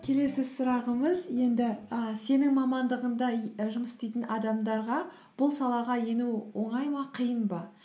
келесі сұрағымыз енді і сенің мамандығыңда жұмыс істейтін адамдарға бұл салаға ену оңай ма қиын ба